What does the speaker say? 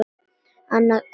Annað öngvit